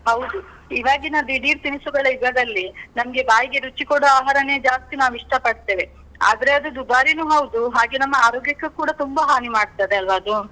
ಹೌದು. ಇವಾಗಿನ ದಿಢೀರ್ ತಿನ್ಸುಗಳ ಯುಗದಲ್ಲಿ, ನಮ್ಗೆ ಬಾಯಿಗೆ ರುಚಿ ಕೊಡೋ ಆಹಾರನೇ ಜಾಸ್ತಿ ನಾವು ಇಷ್ಟ ಪಡ್ತೇವೆ. ಆದ್ರೆ ಅದು ದುಬಾರಿನು ಹೌದು, ಹಾಗೆ ನಮ್ಮ ಆರೋಗ್ಯಕ್ಕೆ ಕೂಡ ತುಂಬಾ ಹಾನಿ ಮಾಡ್ತದೆ ಅಲ್ವ ಅದು?